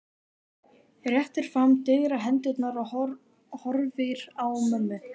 Réttir fram digrar hendurnar og horfir á mömmu.